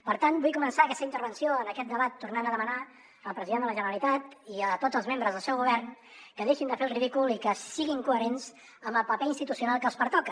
per tant vull començar aquesta intervenció en aquest debat tornant a demanar al president de la generalitat i a tots els membres del seu govern que deixin de fer el ridícul i que siguin coherents amb el paper institucional que els pertoca